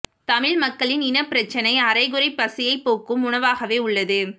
தமிழ் மக்களின் இனப் பிரச்சினை அரைகுறைப் பசியைப் போக்கும் உணவாகவே உள்ளது